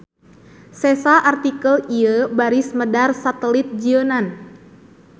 Sesa artikel ieu baris medar satelit jieunan.